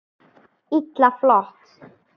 Illa flott!